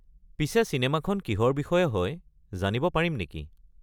পিছে চিনেমাখন কিহৰ বিষয়ে হয় জানিব পাৰিম নেকি?